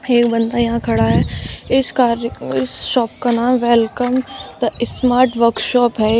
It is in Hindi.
एक बंदा यहां खड़ा है इस कार इस शॉप का नाम वेलकम स्मार्ट वर्कशॉप है यह--